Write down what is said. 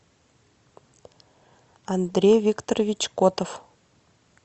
андрей викторович котов